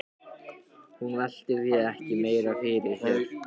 Hún velti því ekki meira fyrir sér.